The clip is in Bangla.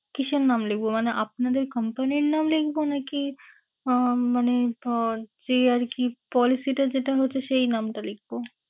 কিসের নাম লিখবো? মানে আপনাদের company র নাম লিখবো নাকি আহ মানে ধরুন যে আরকি policy টা যেটা হচ্ছে সেই নামটা লিখবো?